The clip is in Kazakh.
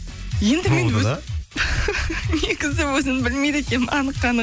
енді мен негізі өзім білмейді екенмін анық